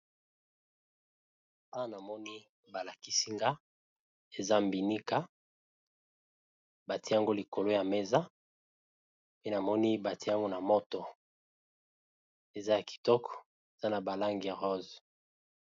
Awa namoni balakisinga eza mbinika batiango likolo ya mesa pe namoni batiango na moto eza ya kitoko eza na balange ya rose.